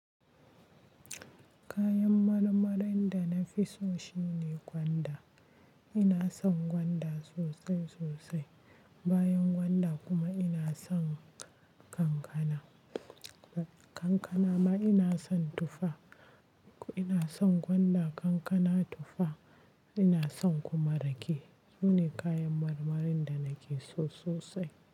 Kayan marmarin da na fi so shine gwanda. Ina son gwanda sosai sosai. Bayan gwanda kuma ina son kankana. Kankana ma ina son tufa. Ko ina son gwanda, kankana, tufa. Ina son kuma rake. Sune kayan marmarin da nake so sosai.